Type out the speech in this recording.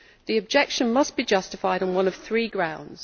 The objection must be justified on one of three grounds.